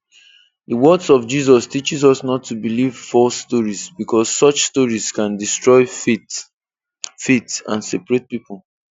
The words of Jesus teaches us not to believe false stories, because such stories can destroy faith faith and separate people.